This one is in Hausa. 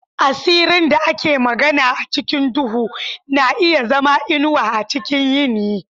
Asirin da ake magana a cikin duhu na iya zama inuwa a cikin yini.